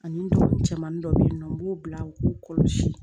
Ani ndugu cɛmanin dɔ bɛ yen nɔ n b'o bila u k'u kɔlɔsi